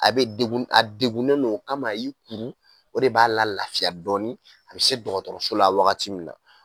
A be dekun , a dekunnen don. O kama a y'i kuru, o de b'a la lafiya dɔɔni a be se dɔgɔtɔrɔso la wagati mun na.